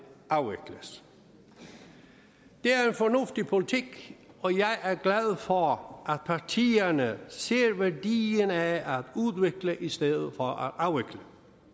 afvikles det er en fornuftig politik og jeg er glad for at partierne ser værdien af at udvikle i stedet for at afvikle